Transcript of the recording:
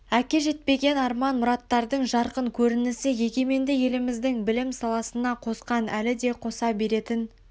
әке жетпеген арман мұраттардың жарқын көрінісі егеменді еліміздің білім саласына қосқан әлі де қоса беретін